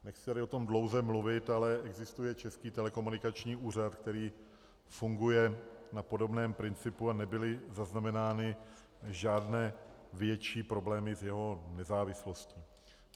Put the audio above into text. Nechci tady o tom dlouze mluvit, ale existuje Český telekomunikační úřad, který funguje na podobném principu, a nebyly zaznamenány žádné větší problémy s jeho nezávislostí.